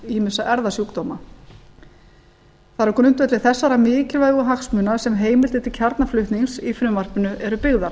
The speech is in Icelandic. ýmissa erfðasjúkdóma það er á grundvelli þessara mikilvægu hagsmuna sem heimildir til kjarnaflutnings í frumvarpinu eru byggðar